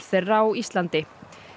þeirra á Íslandi